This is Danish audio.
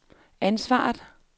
ansvaret